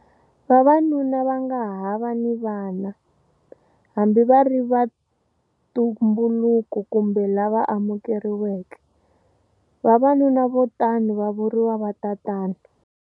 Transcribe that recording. Vavanuna va nga ha va ni vana, hambi va ri va ntumbuluko kumbe lava amukeriweke, vavanuna vo tano va vuriwa vatatana.